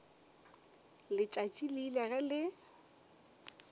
letšatši le ile ge le